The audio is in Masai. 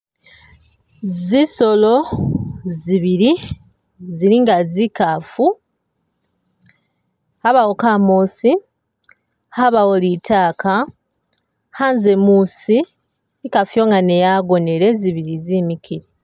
Zisolo zibili zili nga zikaafu abawo kamoosi abawo litaaka ,khanze muusi ikaafu iyo nga ne yagonele zibili zemikile.